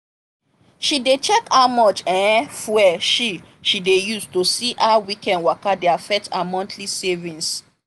she dey check how much um fuel she she dey use to see how weekend waka dey affect her monthly savings.